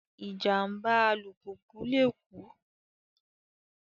Ìjàm̀bá alùpùpù lè kú